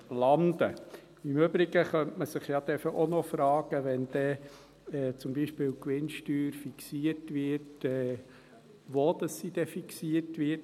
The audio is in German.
Im Übrigen könnte man sich ja auch noch fragen, wenn dann zum Beispiel die Gewinnsteuer fixiert wird, wo diese fixiert wird: